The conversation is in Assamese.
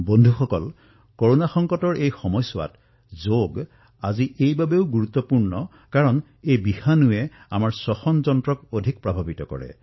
বন্ধুসকল কৰোনাৰ এই সংকটৰ সময়ত এই যোগ আজি এইবাবেই অধিক গুৰুত্বপূৰ্ণ কিয়নো এই ভাইৰাছে আমাৰ শ্বাসপ্ৰশ্বাসজনিত ব্যৱস্থাক অধিক প্ৰভাৱিত কৰে